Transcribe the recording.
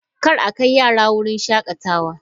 Kar a kai yarana wurin shakatawa!